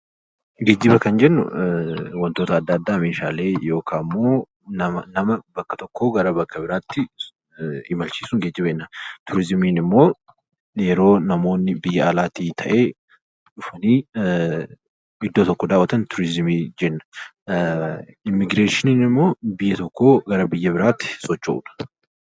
Geejiba kan jennu waantota addaa addaa Meeshaalee yookaan immoo nama bakka tokkoo bakka biraatti imalchiisuun geejiba jennaan. Turizimiin immoo yeroo namoonni biyya alaatii ta'ee dhufanii iddoo tokko daawwatan turizimii jenna. Immigireeshinii immoo biyya tokkoo gara biyya biraatti socho'uudhaan.